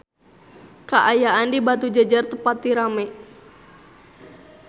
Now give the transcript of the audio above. Kaayaan di Batujajar teu pati rame